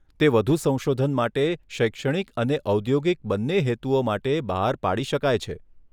તે વધુ સંશોધન માટે, શૈક્ષણિક અને ઔદ્યોગિક બંને હેતુઓ માટે, બહાર પાડી શકાય છે.